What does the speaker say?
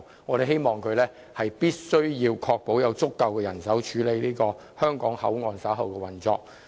我們希望政府能確保會有足夠人手處理香港口岸日後的運作。